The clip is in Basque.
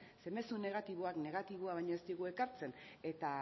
zeren mezu negatiboak negatiboa baino ez digu ekartzen eta